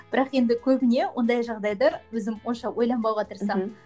бірақ енді көбіне ондай жағдайды өзім онша ойланбауға тырысамын